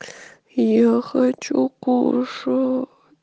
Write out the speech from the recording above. я хочу кушать